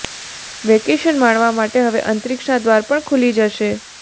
vacation માણવા માટે હવે અંતરિક્ષના દ્વાર પણ ખુલી જશે